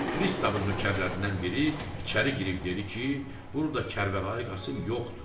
Pristavın nökərlərindən biri içəri girib dedi ki, burda Kərbəlayı Qasım yoxdur.